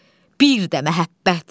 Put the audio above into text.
Bir də məhəbbət!